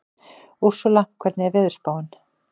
Úrsúla, hvernig er veðurspáin?